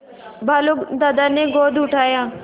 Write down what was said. भालू दादा ने गोद उठाया